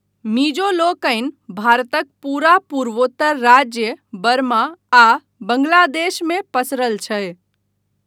मिजो लोकनि भारतक पूरा पूर्वोत्तर राज्य, बर्मा, आ बांग्लादेश मे पसरल छै।